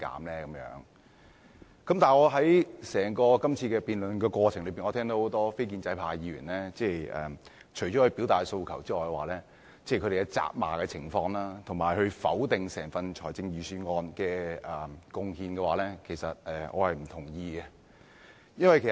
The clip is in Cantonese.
在今次整個辯論過程中，我聽到很多非建制派議員除了表達訴求外，還責罵政府，以及否定整份財政預算案的貢獻，我並不贊同這些做法。